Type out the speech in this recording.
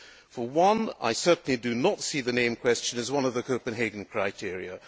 For one, I certainly do not see the name question as one of the Copenhagen criteria.